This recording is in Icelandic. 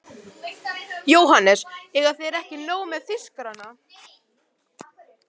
JÓHANNES: Eiga þeir ekki nóg með þýskarana?